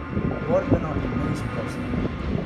Borbeno in neizprosno.